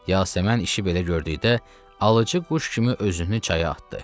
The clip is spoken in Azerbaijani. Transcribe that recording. Yasəmən işi belə gördükdə alıcı quş kimi özünü çaya atdı.